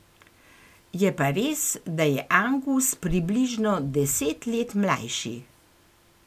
Je pa res, da je Angus približno deset let mlajši.